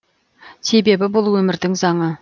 себебі бұл өмірдің заңы